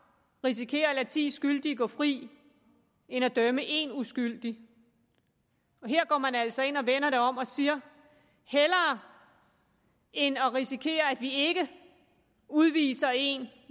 risikere at lade ti skyldige gå fri end at dømme en uskyldig men her går man altså ind og vender det om og siger hellere end at risikere at vi ikke udviser en